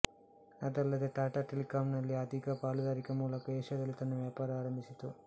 ಅದಲ್ಲದೇ ಟಾಟಾ ಟೆಲೆಕಾಮ್ ನಲ್ಲಿ ಅಧಿಕ ಪಾಲುದಾರಿಕೆ ಮೂಲಕ ಏಶಿಯಾದಲ್ಲಿ ತನ್ನ ವ್ಯಾಪಾರ ಪ್ರಾರಂಭಿಸಿತು